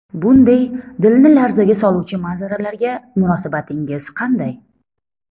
Bunday dilni larzaga soluvchi manzaralarga munosabatingiz qanday?